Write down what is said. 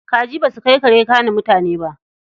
Kaji ba su kai kare gane mutane ba.